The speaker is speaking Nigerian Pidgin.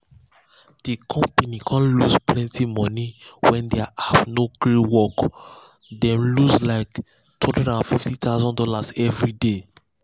the company con lose plenty money when their app no gree work dem lose like two hundred and fifty thousand dollars every day.